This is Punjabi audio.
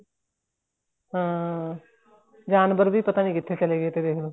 ਹਾਂ ਜਾਨਵਰ ਵੀ ਪਤਾ ਨਹੀਂ ਕਿਥੇ ਚੱਲੇ ਗਏ ਤੇ ਦੇਖਲੋ